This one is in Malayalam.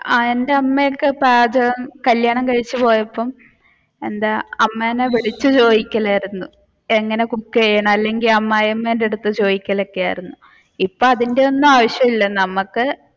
എന്റെ അമ്മയൊക്കെ പാചകം കല്യാണം കഴിച്ചു പോയപ്പോൾ എന്താ അമ്മേനെ വിളിച്ചു ചോയ്ക്കലായിരുന്നു എങ്ങനെ cook ചെയ്യണം, അല്ലെങ്കിൽ അമ്മായിയമ്മയുടെ അടുത്ത് ചോയ്ക്കൽ ഒക്കെയായിരുന്നു ഇപ്പൊ അതിന്റെ ഒന്നും ആവശ്യമില്ല നമുക്ക്